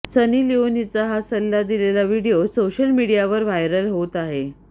सनी लिओनीचा हा सल्ला दिलेला व्हिडिओ सोशल मीडियावर व्हायरल होत आहे